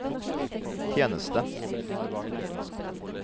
tjeneste